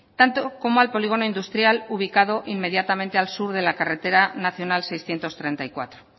tanto como al polígono industrial ubicado inmediatamente al sur de la carretera nacional seiscientos treinta y cuatro